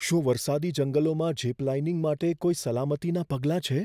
શું વરસાદી જંગલોમાં ઝિપ લાઇનિંગ માટે કોઈ સલામતીનાં પગલાં છે?